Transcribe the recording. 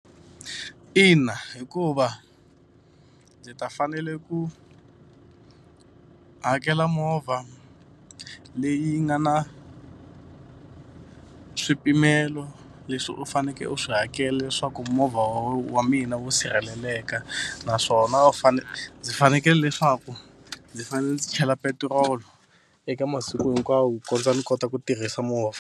Ina, hikuva ndzi ta fanele ku hakela movha leyi nga na swipimelo leswi u fanekele u swi hakela leswaku movha wa wa mina wu sirheleleka naswona u ndzi fanekele leswaku ndzi fanele ndzi chela petiroli eka masiku hinkwawo ku kondza ni kota ku tirhisa movha.